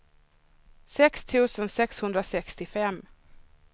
sex tusen sexhundrasextiofem